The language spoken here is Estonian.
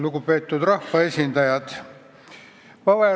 Lugupeetud rahvaesindajad!